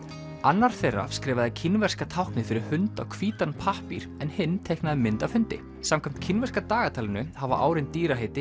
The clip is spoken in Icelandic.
annar þeirra skrifaði kínverska táknið fyrir hund á hvítan pappír en hinn teiknaði mynd af hundi samkvæmt kínverska dagatalinu hafa árin